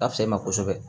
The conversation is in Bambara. A fisa e ma kosɛbɛ